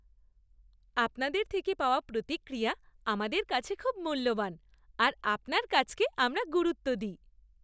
আপনাদের থেকে পাওয়া প্রতিক্রিয়া আমাদের কাছে খুব মূল্যবান আর আপনার কাজকে আমরা গুরুত্ব দিই।